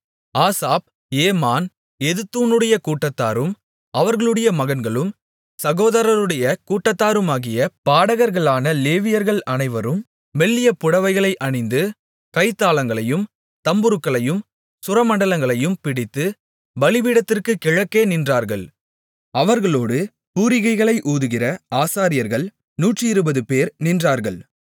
Asaph Heman எதுத்தூனுடைய கூட்டத்தாரும் அவர்களுடைய மகன்களும் சகோதரருடைய கூட்டத்தாருமாகிய பாடகர்களான லேவியர்கள் அனைவரும் மெல்லிய புடவைகளை அணிந்து கைத்தாளங்களையும் தம்புருக்களையும் சுரமண்டலங்களையும் பிடித்து பலிபீடத்திற்குக் கிழக்கே நின்றார்கள் அவர்களோடு பூரிகைகளை ஊதுகிற ஆசாரியர்கள் நூற்றிருபதுபேர் நின்றார்கள்